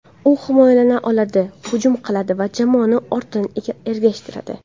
U himoyalana oladi, hujum qiladi va jamoani ortidan ergashtiradi.